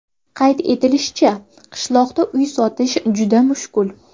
Qayd etilishicha, qishloqda uy sotish juda mushkul.